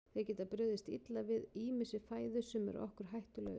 Þeir geta brugðist illa við ýmissi fæðu sem er okkur hættulaus.